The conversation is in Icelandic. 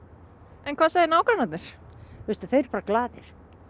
en hvað segja nágrannarnir veistu þeir eru bara glaðir